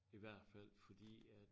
I hvert fald fordi at